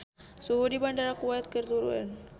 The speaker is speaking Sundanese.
Suhu di Bandara Kuwait keur turun